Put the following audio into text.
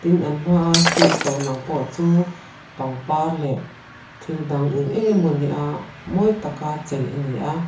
an hmaa stage lo lang pawh chu pangpar leh thil dang eng eng emawni a mawi taka chei a ni a.